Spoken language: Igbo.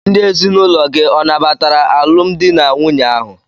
Ndị ezinụlọ gị ọ nabatara alụmdi na nwunye ahụ?